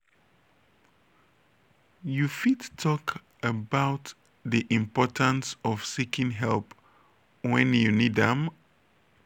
you fit talk about di importance of seeking help when you need am?